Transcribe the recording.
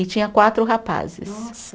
E tinha quatro rapazes. Nossa